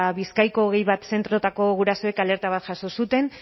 bizkaiko hogei bat zentroetako gurasoek alerta bat jaso zuten